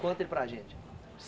Conta aí para a gente.